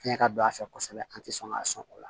Fiɲɛ ka don a fɛ kosɛbɛ an tɛ sɔn ka sɔn o la